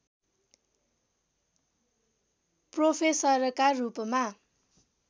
प्रोफेसरका रूपमा